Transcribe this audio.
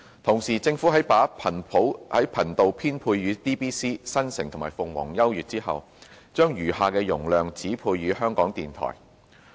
同時，政府在把頻道編配予 DBC、新城及鳳凰優悅後，將餘下的容量指配予香港電台。